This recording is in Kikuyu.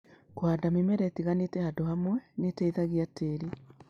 Kũhanda mĩmera ĩtiganĩte handũ hamwe nĩ ĩteithagia tĩĩri.